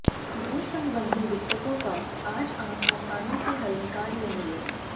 धन संबंधी दिक्कतों का आज आप आसानी से हल निकाल लेंगे